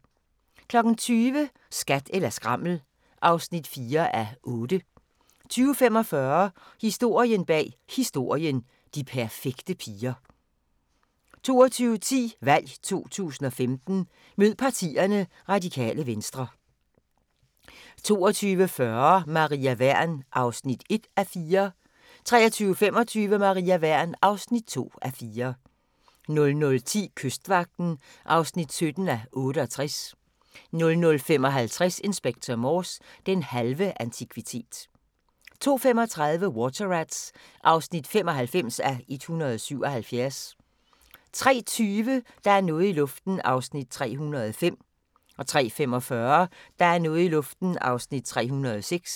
20:00: Skat eller skrammel (4:8) 20:45: Historien bag Historien: De perfekte piger 22:10: VALG 2015: Mød Partierne: Radikale Venstre 22:40: Maria Wern (1:4) 23:25: Maria Wern (2:4) 00:10: Kystvagten (17:68) 00:55: Inspector Morse: Den halve antikvitet 02:35: Water Rats (95:177) 03:20: Der er noget i luften (305:320) 03:45: Der er noget i luften (306:320)